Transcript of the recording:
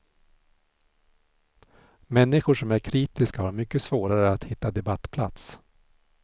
Människor som är kritiska har mycket svårare att hitta debattplats.